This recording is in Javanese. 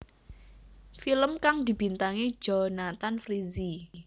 Film kang dibintangi Jonthan Frizzy